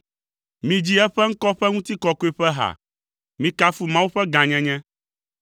Midzi eƒe ŋkɔ ƒe ŋutikɔkɔe ƒe ha; mikafu Mawu ƒe gãnyenye!